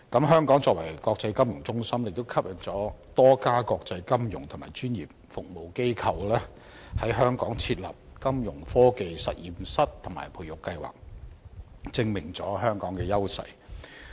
香港作為國際金融中心，亦吸引了多家國際金融及專業服務機構在香港設立金融科技實驗室和培育計劃，足證香港的優勢。